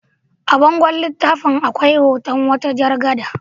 A bangon littafin akwai hoton wata jar gada.